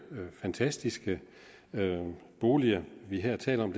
fantastiske boliger vi her taler om